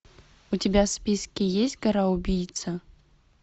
у тебя в списке есть гора убийца